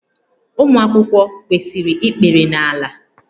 Ụmụ akwụkwọ kwesịrị ikpere n'ala